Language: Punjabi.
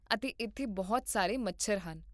ਅਤੇ ਇੱਥੇ ਬਹੁਤ ਸਾਰੇ ਮੱਛਰ ਹਨ